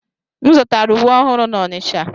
M zụtara uwe ọhụrụ n'Onitsha.